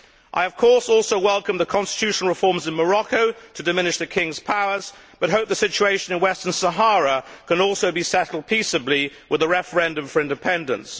I also welcome the constitutional reforms in Morocco to diminish the King's powers, but hope the situation in Western Sahara can also be settled peacefully with the referendum for independence.